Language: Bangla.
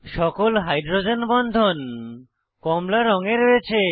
সকল হাইড্রোজেন বন্ধন কমলা রঙে রয়েছে